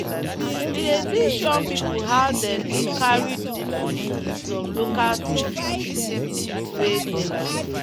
we dey teach young people how them dey carry do tools with some local things things wey dey.